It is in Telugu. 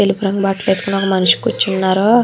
తెలుపు రంగు బట్టలు వేసుకుని ఒక మనిషి కూర్చున్నాడు.